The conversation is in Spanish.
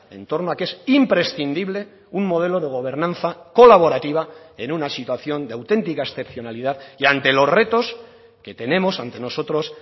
en torno a que es imprescindible un modelo de gobernanza colaborativa en una situación de auténtica excepcionalidad y ante los retos que tenemos ante nosotros